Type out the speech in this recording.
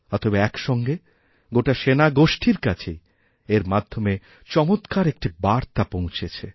অতএব একসঙ্গে গোটা সেনাগোষ্ঠীর কাছেই এর মাধ্যমে চমৎকার একটি বার্তাপৌঁছেছে